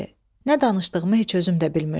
Nə danışdığımı heç özüm də bilmirdim.